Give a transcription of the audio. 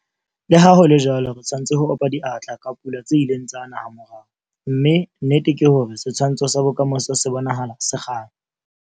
Le ha ho le jwalo, re tshwanetse ho opa diatla ka dipula tse ileng tsa na hamorao, mme nnete ke hore setshwantsho sa bokamoso se bonahala se kganya.